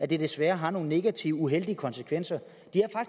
desværre har nogle negative og uheldige konsekvenser